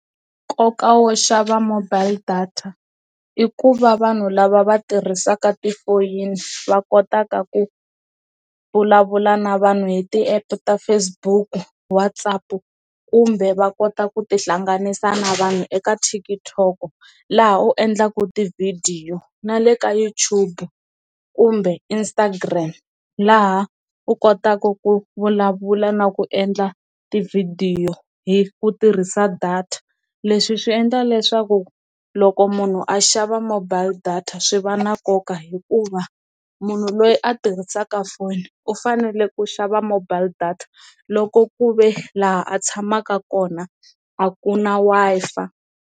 Nkoka wo xava mobile data i ku va vanhu lava va tirhisaka ti foyini va kotaka ku vulavula na vanhu hi ti app ta Facebook WhatsApp kumbe va kota ku tihlanganisa na vanhu eka TikTok laha u endlaku ti video na le ka Youtube kumbe Instagram laha u kotaku ku vulavula na ku endla tivhidiyo hi ku tirhisa data, leswi swi endla leswaku loko munhu a xava mobile data swi va na nkoka hikuva munhu loyi a tirhisaka foni u fanele ku xava mobile data loko ku ve laha a tshamaka kona a ku na Wi-Fi.